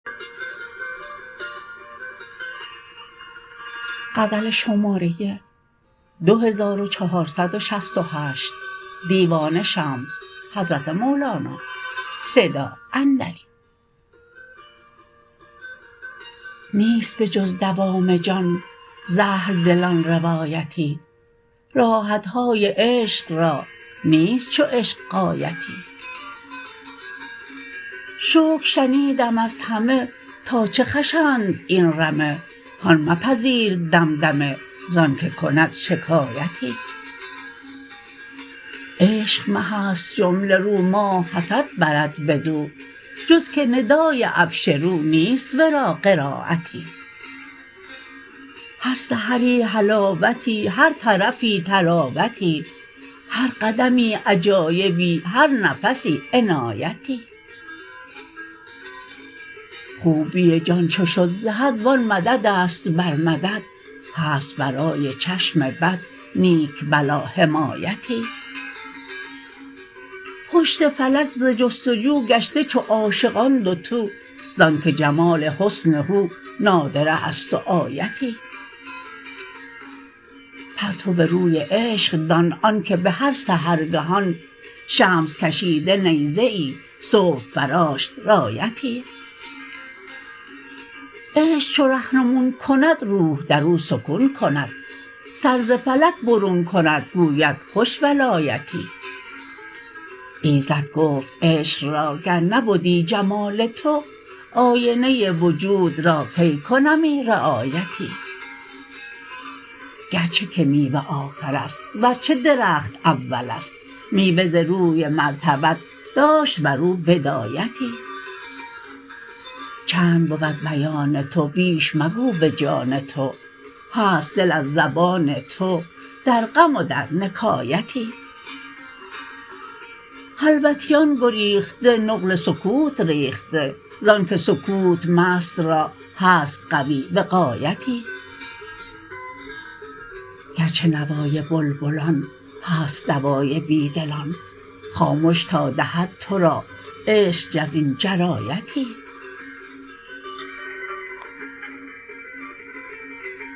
نیست به جز دوام جان ز اهل دلان روایتی راحت های عشق را نیست چو عشق غایتی شکر شنیدم از همه تا چه خوشند این رمه هان مپذیر دمدمه ز آنک کند شکایتی عشق مه است جمله رو ماه حسد برد بدو جز که ندای ابشروا این است ورا قرایتی هر سحری حلاوتی هر طرفی طراوتی هر قدمی عجایبی هر نفسی عنایتی خوبی جان چو شد ز حد و آن مدد است بر مدد هست برای چشم بد نیک بلا حمایتی پشت فلک ز جست و جو گشته چو عاشقان دوتو ز آنک جمال حسن هو نادره است و آیتی پرتو روی عشق دان آنک به هر سحرگهان شمس کشید نیزه ای صبح فراشت رایتی عشق چو رهنمون کند روح در او سکون کند سر ز فلک برون کند گوید خوش ولایتی ایزد گفت عشق را گر نبدی جمال تو آینه وجود را کی کنمی رعایتی گرچه که میوه آخر است ورچه درخت اول است میوه ز روی مرتبت داشت بر او بدایتی چند بود بیان تو بیش مگو به جان تو هست دل از زبان تو در غم و در نکایتی خلوتیان گریخته نقل سکوت ریخته ز آنک سکوت مست را هست قوی وقایتی گرچه نوای بلبلان هست دوای بی دلان خامش تا دهد تو را عشق جز این جرایتی